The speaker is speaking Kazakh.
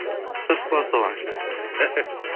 дұрыс қылады сол әншілер